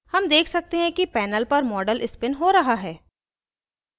हम देख सकते हैं कि panel पर model स्पिन हो रहा है